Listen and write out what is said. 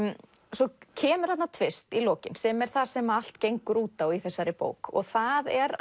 svo kemur þarna tvist í lokin sem er það sem allt gengur út á í þessari bók og það er